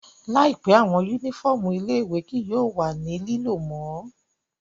Laipẹ, awọn unifọmú ile-iwe kii yóò wa ni lilo mo